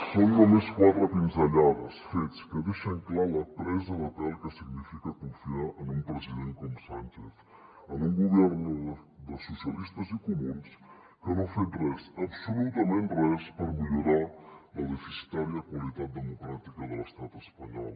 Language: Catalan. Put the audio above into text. són només quatre pinzellades fets que deixen clar la presa de pèl que significa confiar en un president com sánchez en un gobierno dels socialistes i comuns que no ha fet res absolutament res per millorar la deficitària qualitat democràtica de l’estat espanyol